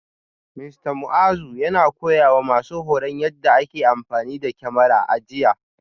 Mista Muazu yana koyawa masu horon yadda ake amfani da kyamara a jiya